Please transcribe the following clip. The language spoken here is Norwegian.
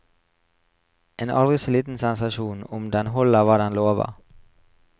En aldri så liten sensasjon om den holder hva den lover.